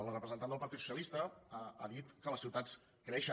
la representant del partit socialista ha dit que les ciutats creixen